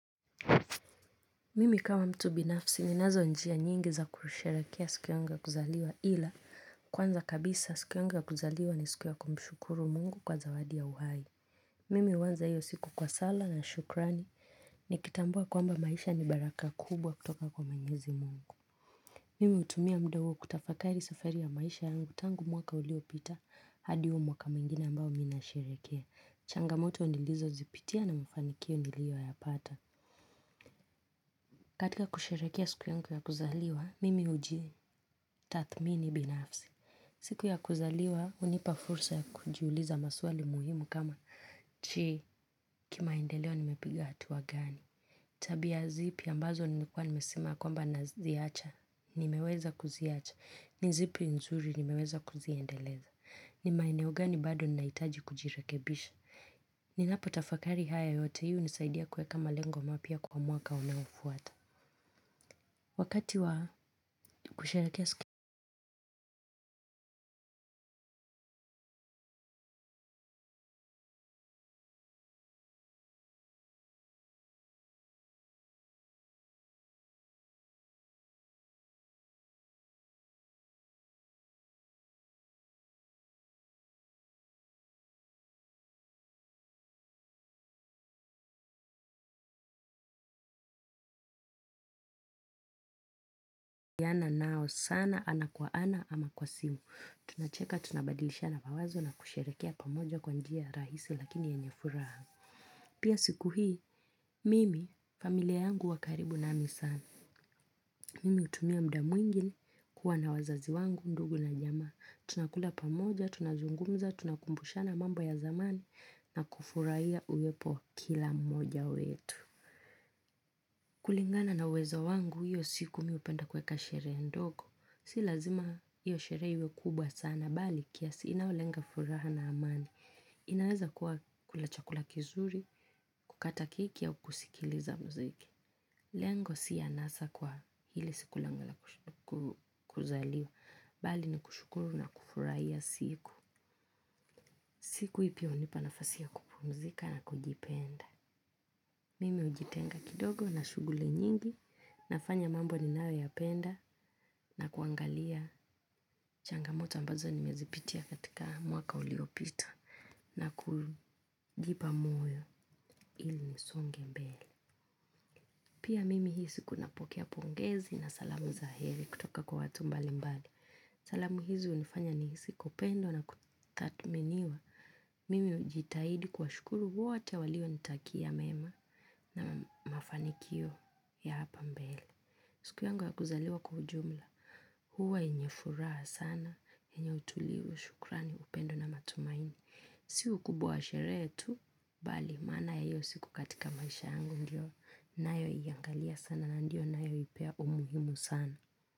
Mimi kama mtu binafsi ninazo njia nyingi za kusherekea siku yangu ya kuzaliwa ila kwanza kabisa siku yangu ya kuzaliwa ni siku ya kumshukuru mungu kwa zawadi ya uhai. Mimi uanza hiyo siku kwa sala na shukrani nikitambua kwamba maisha ni baraka kubwa kutoka kwa mwenyezi mungu. Mimi utumia muda huo kutafakari safari ya maisha yangu tangu mwaka uliopita hadi huo mwaka mwingine ambao mi nasherekea. Changamoto nilizo zipitia na mfanikio nilio yapata. Katika kusherekea siku yangu ya kuzaliwa, mimi uji tathmini binafsi. Siku ya kuzaliwa unipa fursa ya kujiuliza maswali muhimu kama je, kimaendeleo nimepiga hatua gani. Tabia zipi ambazo nimekua nimesema kwamba naziacha, nimeweza kuziacha. Zipi nzuri nimeweza kuziendeleza. Ni maeneo gani bado naitaji kujirekebisha. Ninapo tafakari haya yote hii unisaidia kueka malengo mapya kwa mwaka unaofuata. Wakati wa kusherekea siana nao sana ana kwa ana ama kwa simu, tunacheka tunabadilishana mawazo na kusherekea pamoja kwa njia rahisi lakini yenye furaa. Pia siku hii, mimi familia yangu wa karibu nami sana. Mimi utumia muda mwingi kuwa na wazazi wangu ndugu na jamaa. Tunakula pamoja, tunazungumza, tunakumbushana mambo ya zamani na kufurahia uwepo kila mmoja wetu. Kulingana na uwezo wangu hiyo siku mi upenda kuweka sheree ndoko, si lazima hiyo sheree iwe kubwa sana, bali kiasi inaolenga furaha na amani, inaweza kuwa kula chakula kizuri, kukata keki au kusikiliza mziki. Lengo si anasa kwa ile siku langu la kuzaliwa, bali ni kushukuru na kufurahia siku. Siku hii pia unipa nafasi ya kupumzika na kujipenda. Mimi ujitenga kidogo na shuguli nyingi nafanya mambo ninayo yapenda na kuangalia changamoto ambazo nimezipitia katika mwaka uliopita na kujipa moyo ili nisonge mbele. Pia mimi hii siku napokea pongezi na salamu za heri kutoka kwa watu mbali mbali. Salamu hizi unifanya nihisi kupendwa na kutathminiwa. Mimi ujitahidi kuwashukuru wote walio nitakia mema na mafanikio ya hapa mbele. Siku yangu ya kuzaliwa kwa ujumla. Huwa yenye furaha sana, yenye utulivu, shukrani, upendo na matumaini. Siku ukubwa wa sheree tu, bali maana ya hio siku katika maisha yangu ndio ninayo iangalia sana na ndio nayoipea umuhimu sana.